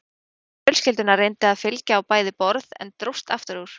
Hundur fjölskyldunnar reyndi að fylgja á bæði borð en dróst aftur úr.